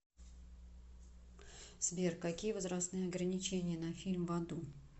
сбер какие возрастные ограничения на фильм в аду